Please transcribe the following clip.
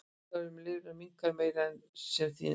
Blóðflæði um lifrina minnkar meira en sem því nemur.